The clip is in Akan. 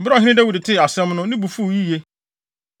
Bere a ɔhene Dawid tee asɛm no, ne bo fuw yiye.